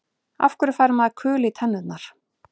Af hverju fær maður kul í tennurnar?